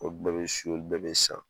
Olu bɛɛ bi sun olu bɛɛ bi san